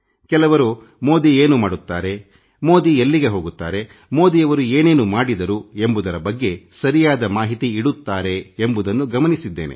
ಕೆಲವರು ಮೋದಿ ಏನು ಮಾಡುತ್ತಾರೆ ಮೋದಿ ಎಲ್ಲಿಗೆ ಹೋಗುತ್ತಾರೆ ಮೋದಿಯವರು ಏನೇನು ಮಾಡಿದರು ಎಂಬುದರ ಬಗ್ಗೆ ಸರಿಯಾದ ಮಾಹಿತಿ ಇಡುತ್ತಾರೆ ಎಂಬುದನ್ನು ಗಮನಿಸಿದ್ದೇನೆ